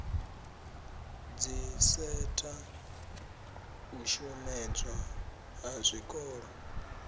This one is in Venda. dziseta u shomedzwa ha zwikolo